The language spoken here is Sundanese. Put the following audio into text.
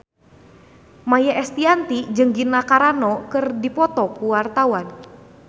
Maia Estianty jeung Gina Carano keur dipoto ku wartawan